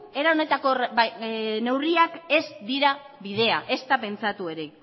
era honetako neurriak ez dira bidea ezta pentsatu ere